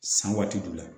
San waati jumɛn